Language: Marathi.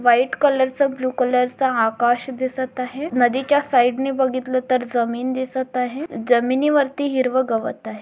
व्हाइट कलर चं ब्ल्यु कलर चा आकाश दिसत आहे नदीच्या साइड ने बघितलं तर जमीन दिसत आहे जमीनीवरती हिरवं गवत आहे.